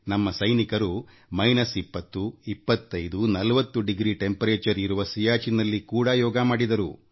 ನಮ್ಮ ಸೈನಿಕರು minus 20 25 40 degree ತಾಪಮಾನಇರುವ ಸಿಯಾಚಿನ್ನಲ್ಲಿ ಕೂಡ ಯೋಗ ಮಾಡಿದರು